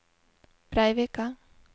Breivika